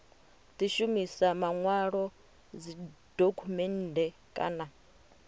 di shumisa manwalo dzidokhumennde kana